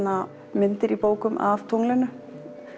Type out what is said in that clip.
myndir úr bókum af tunglinu